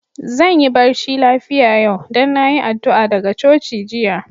Zan yi barci lafia yau, dan na yi addu'a daga coci jiya.